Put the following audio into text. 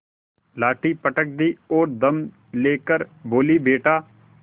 लाठी पटक दी और दम ले कर बोलीबेटा